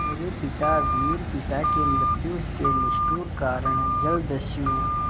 मेरे पिता वीर पिता की मृत्यु के निष्ठुर कारण जलदस्यु